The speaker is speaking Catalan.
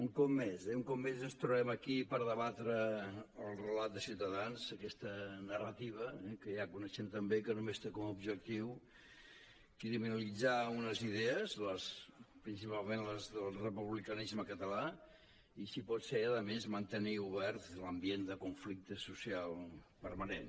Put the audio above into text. un cop més eh un cop més ens trobem aquí per debatre el relat de ciutadans aquesta narrativa que ja coneixem tan bé que només té com a ob·jectiu criminalitzar unes idees principalment les del republicanisme català i si pot ser a més mantenir obert l’ambient de conflicte social permanent